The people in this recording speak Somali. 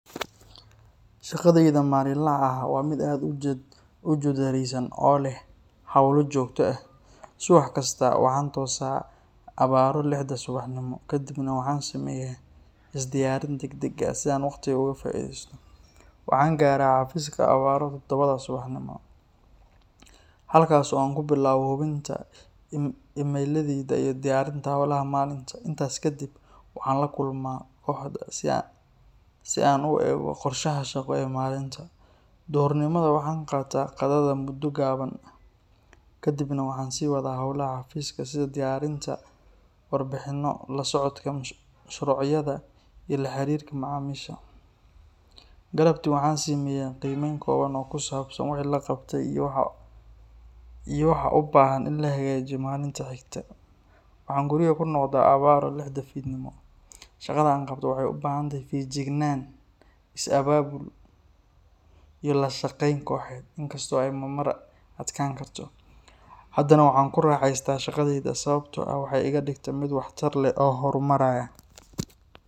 Shaqadeyda maalinlaha ah waa mid aad u jadwaleysan oo leh hawlo joogto ah. Subax kasta waxaan toosaa abaaro lixda subaxnimo, kadibna waxaan sameeyaa is diyaarin degdeg ah si aan waqtiga uga faa’iideysto. Waxaan gaaraa xafiiska abaaro toddobada subaxnimo, halkaas oo aan ku bilaabo hubinta iimaylada iyo diyaarinta hawlaha maalinta. Intaas kadib waxaan la kulmaa kooxda si aan u eegno qorshaha shaqo ee maalinta. Duhurnimada waxaan qaataa qadada muddo gaaban ah, kadibna waxaan sii wadaa hawlaha xafiiska sida diyaarinta warbixinno, la socodka mashruucyada iyo la xiriirka macaamiisha. Galabtii waxaan sameeyaa qiimeyn kooban oo ku saabsan wixii la qabtay iyo waxa u baahan in la hagaajiyo maalinta xigta. Waxaan guriga ku noqdaa abaaro lixda fiidnimo. Shaqada aan qabto waxay u baahan tahay feejignaan, is abaabul, iyo la shaqeyn kooxeed. In kasta oo ay marmar adkaan karto, haddana waan ku raaxaystaa shaqadayda sababtoo ah waxay iga dhigtaa mid waxtar leh oo horumaraya.